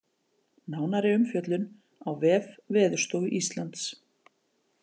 Nánari umfjöllun á vef Veðurstofu Íslands